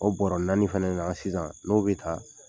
O bɔra naani fɛnɛ na sisan n'o be ta